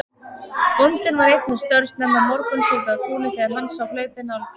Bóndinn var einn við störf snemma morguns úti á túni þegar hann sá hlaupið nálgast.